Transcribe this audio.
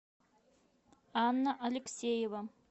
анна алексеева